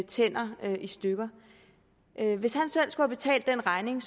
tænder i stykker hvis han selv skulle betale den regning